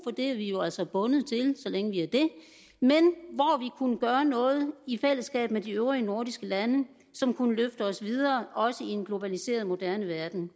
er vi jo altså bundet til så længe vi er det kunne gøre noget i fællesskab med de øvrige nordiske lande som kunne løfte os videre også i en globaliseret moderne verden